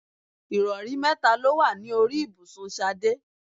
Ìrọ̀rí mẹ́ta ló wà ní orí ibùsùn Ṣadé.